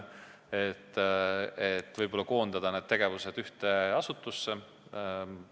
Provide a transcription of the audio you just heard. On arutatud, et võib-olla võiks need tegevused ühte asutusse koondada.